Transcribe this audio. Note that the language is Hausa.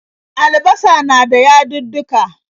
Albasa na da yadudduka.